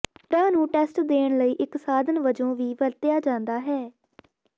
ਸੁੱਡਾ ਨੂੰ ਟੈਸਟ ਦੇਣ ਲਈ ਇੱਕ ਸਾਧਨ ਵਜੋਂ ਵੀ ਵਰਤਿਆ ਜਾਂਦਾ ਹੈ